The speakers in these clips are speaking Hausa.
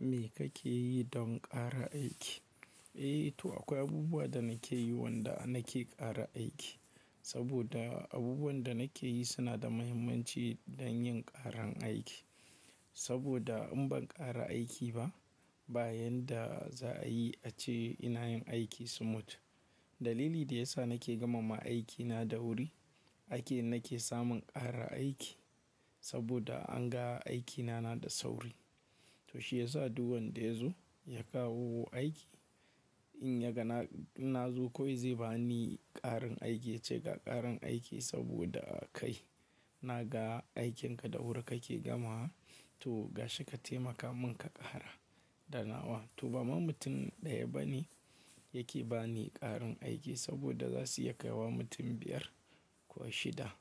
Me kake yi don ƙara aiki? Eh to akwai abubuwa da nake yi wanda nake ƙara aiki. Saboda abubuwan da nake yi suna da muhimmanci don yin ƙaran aiki. Saboda in ban ƙara aiki ba, bayan da za a yi, a ce ina yin aiki smooth. Dalili da ya sa nake gama ma aikina da wuri, ake nake samun ƙara aiki saboda an ga aikina na da sauri. To shi ya sa duk wanda ya zo ya kawo aiki in ya ga na inna zo kawai zai ba ni ƙarin aiki ya ce ga ƙarin aiki saboda kai na ga aikinka da wuri kake gamawa. To gashi ka taimaka mun ka ƙara da nawa. To baman mutum ɗaya bane yake ba ni ƙarin aiki saboda za su iya kai wa mutum biyar ko shida.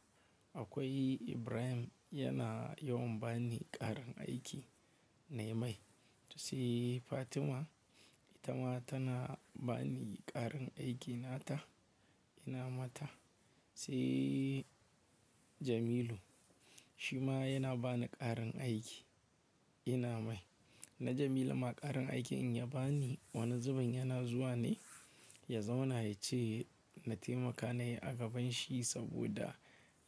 Akwai Ibrahim yana yawan ba ni ƙarin aiki nayi mai. Sai Fatima, ita ma tana ba ni ƙarin aiki nata ina mata. Sai Jamilu shi ma yana ba ni ƙarin aiki ina mai. Na Jamilu ma ƙarin aikin in ya bani wani zubin yana zuwa ne ya zauna ya ce na taimaka nayi gaban shi saboda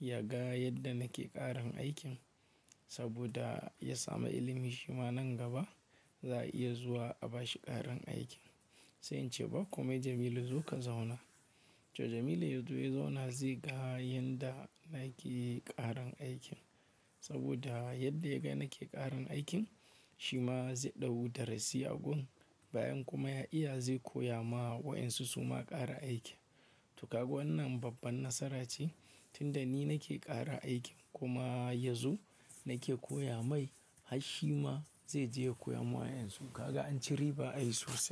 ya ga yadda nake ƙarin aikin saboda ya sami ilimi. Shi ma nan gaba za a iya zuwa a bashi ƙarin aikin. Sai in ce ba kome Jamilu zo ka zauna. To Jamilu ya zo ya zauna zai ga yadda nake ƙarin aikin saboda yadda ya ga nake ƙarin aikin shi ma zai ɗau darasi a gun. Bayan kuma ya iya zai koya ma wa'yansu su ma ƙara aiki. To kaga wannan babban nasara ce tunda ni nake ƙara aikin kuma yanzu nake koya mai har shi ma zai je ya koya ma wa'yansu. Kaga an ci riba ai sosai.